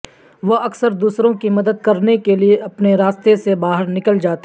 وہ اکثر دوسروں کی مدد کرنے کے لئے اپنے راستے سے باہر نکل جاتے ہیں